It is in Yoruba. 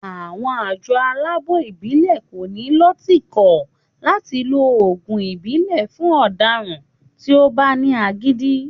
Àwọn àjọ aláàbò ìbílè ko ní lọ tìkò láti lo oògùn ìbílè fún ọdaràn tí o bá ní agídí